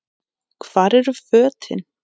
Hvar eru fötin?